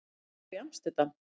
Það er í Amsterdam.